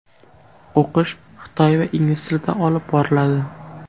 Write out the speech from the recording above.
O‘qish xitoy va ingliz tilida olib boriladi.